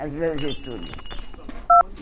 A Grande Túlio.